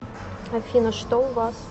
афина что у вас